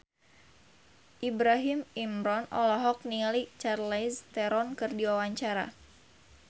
Ibrahim Imran olohok ningali Charlize Theron keur diwawancara